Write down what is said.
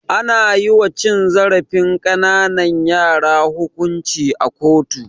Ana yiwa cin zarafin ƙananan yara hukunci a kotu.